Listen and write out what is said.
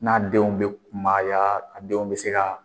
N'a denw bɛ kunbaya a denw bɛ se ka